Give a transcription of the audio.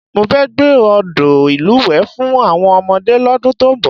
Mo fẹ́ gbẹ́ odò ìlúwẹ̀ẹ́ fún àwọn ọmọdé lọ́dún tó ń bọ̀